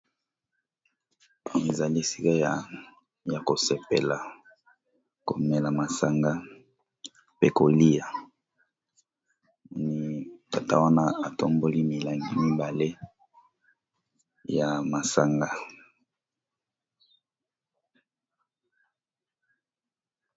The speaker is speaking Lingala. Ezali esika ya ko sepela komela masanga mpe kolia, moni tata wana atomboli milangi mibale ya masanga.